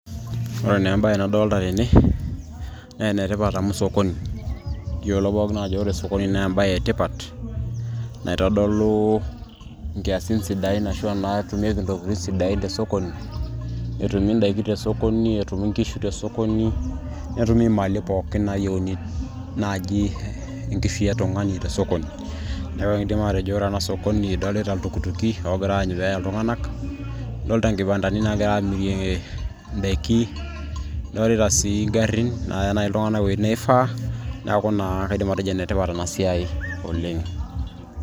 ore naa embaye nadolita rene naa enetipat amu sokoni kiyiolo pookin ajo ore sokoni naa embaye etipat naitodolu inkiasin sidain ashua naatumieki intokitin sidain tesokoni etumi indaiki te sokoni etumi inkishu te sokoni netumi imali pookin naji nayieuni naaji enkishui e tung'ani te sokoni neeku ekiindim atejo ore ena sokoni idolta iltukituki oogiraa aanyu peeya iltung'anak idolita inkibandani naagiray amirie indaiki idolita sii ingarrin naaya naaji iltung'anak iwuejin nifaa neeku naa kaidim atejo enetipat ena siai oleng.